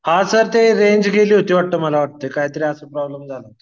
हां सर ते रेंज गेली होती मला वाटतंय काहीतरी असा प्रॉब्लेम झाला होता.